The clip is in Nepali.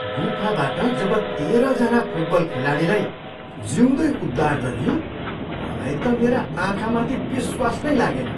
गुफाबाट जब तेह्रजना फुटबल खेलाडीलाई जिउँदै उद्धार गरियो मलाई त मेरा आँखामाथि विश्वास नै लागेन।